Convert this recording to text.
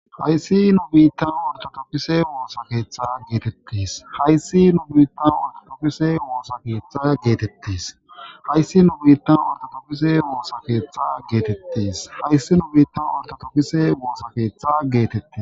hayssi nu biittan ortotokise woosakeeththa geetettis hayssi nu biittan ortotokise woosa keeththa geetettis hayssi nu biittan ortotokise woosa keeththa geetettis hayssi nu biittan ortotokise woosa keeththa geetette